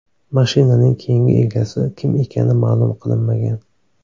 Mashinaning keyingi egasi kim ekani ma’lum qilinmagan.